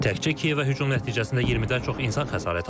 Təkçə Kiyevə hücum nəticəsində 20-dən çox insan xəsarət alıb.